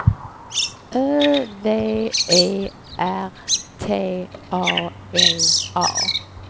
Ö V E R T A L A